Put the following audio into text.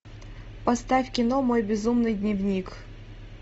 поставь кино мой безумный дневник